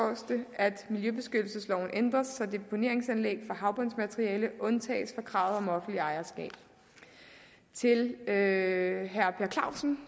at miljøbeskyttelsesloven ændres så deponeringsanlæg for havbundsmateriale undtages fra kravet om offentligt ejerskab til herre per clausen